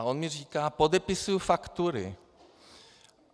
A on mi říkal: "Podepisuji faktury."